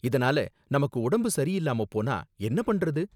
இதனால நமக்கு உடம்பு சரி இல்லாம போனா என்ன பண்றது?